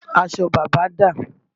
Aṣọ bàbá dà?